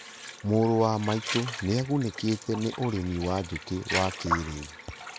Mũrũ wa maitũ nĩagunĩkĩte nĩ ũrĩmi wa njũkĩ wa kĩrĩu